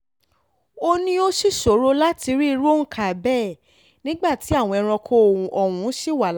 ó ní ó sì ṣòro láti rí irú òǹkà bẹ́ẹ̀ nígbà tí àwọn ẹranko ọ̀hún ṣì wà láàyè